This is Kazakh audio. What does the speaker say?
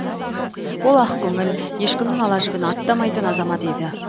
ол ақкөңіл ешкімнің ала жібін аттамайтын азамат еді